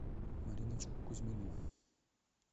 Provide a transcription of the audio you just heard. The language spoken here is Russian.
мариночку кузьмину